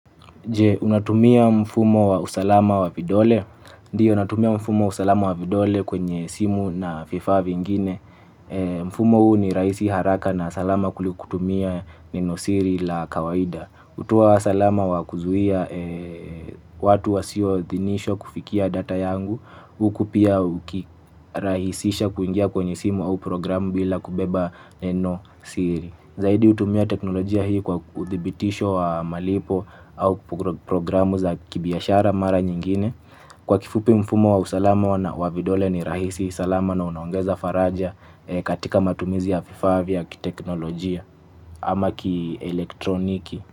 Je, unatumia mfumo wa usalama wa vidole? Ndiyo, natumia mfumo wa usalama wa vidole kwenye simu na vifaa vingine. Mfumo huu ni rahisi haraka na salama kuliko kutumia neno siri la kawaida. Hutoa salama wa kuzuia watu wa sio idhinishwa kufikia data yangu. Huku pia uki rahisisha kuingia kwenye simu au programu bila kubeba neno siri. Zaidi hutumia teknolojia hii kwa uthibitisho wa malipo au programu za kibiashara mara nyingine kwa kifupi mfumo wa usalama wa na wavidole ni rahisi salama na unaongeza faraja katika matumizi ya vifaa vya kiteknolojia ama ki elektroniki.